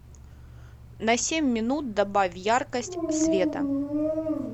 на семь минут добавь яркость света